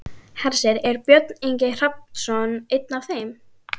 Hersir: Er Björn Ingi Hrafnsson einn af þeim?